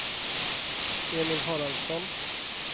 Emil Haraldsson